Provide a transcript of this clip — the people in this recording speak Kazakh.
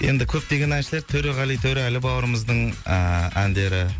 енді көптеген әншілер төреғали төрәлі бауырымыздың ыыы әндері